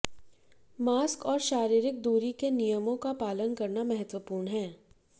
mask और शारीरिक दूरी के नियमों का पालन करना महत्वपूर्ण है